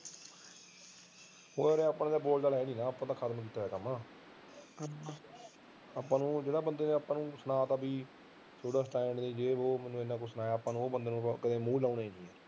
ਹੋਰ ਆਪਾਂ ਤਾਂ ਬੋਲਚਾਲ ਆਪਾ ਤਾਂ ਕਰ ਦਿਦੇ ਕੰਮ ਜਿਹੜੇ ਬੰਦੇ ਨੇ ਆਪਾਂ ਨੂੰ ਸੁਣਾ ਤਾਂ ਕਿ ਸਟੈਂਡ ਨੀ ਯੈ ਵੋ ਮੈਨੂੰ ਐਨਾ ਕੁਝ ਸੁਣਿਆ ਆਪਾਂ ਨੂੰ ਮੂੰਹ ਲਾਉਣ ਦੀ ਲੋੜ ਨੀ